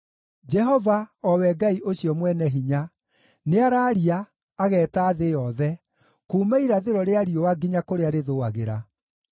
Jehova, o we Ngai ũcio Mwene-Hinya, nĩaraaria, ageeta thĩ yothe kuuma irathĩro rĩa riũa nginya kũrĩa rĩthũagĩra.